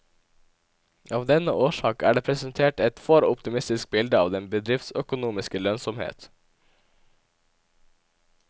Av denne årsak er det presentert et for optimistisk bilde av den bedriftsøkonomiske lønnsomhet.